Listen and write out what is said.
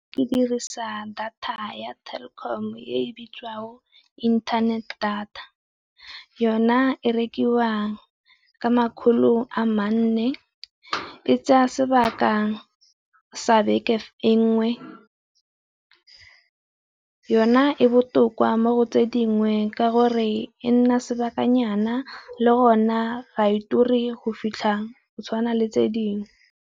Ke dirisa data ya Telkom e bitswago inthanete data. Yona e rekiwang ka makgolo a manne, e tsaya sebaka jang sa beke e nngwe, yona e botoka mo tse dingwe ka gore e nna sebakanyana le gona ga e turi go fitlha go tshwana le tse dingwe.